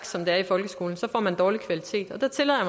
som det er i folkeskolen så får man dårlig kvalitet der tillader